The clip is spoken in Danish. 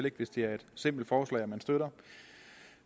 ikke hvis det er et simpelt forslag man støtter